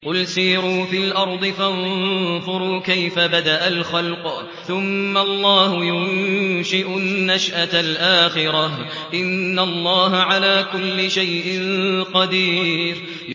قُلْ سِيرُوا فِي الْأَرْضِ فَانظُرُوا كَيْفَ بَدَأَ الْخَلْقَ ۚ ثُمَّ اللَّهُ يُنشِئُ النَّشْأَةَ الْآخِرَةَ ۚ إِنَّ اللَّهَ عَلَىٰ كُلِّ شَيْءٍ قَدِيرٌ